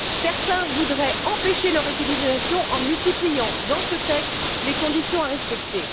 Certains voudraient empêcher leur utilisation en multipliant, dans ce texte, les conditions à respecter.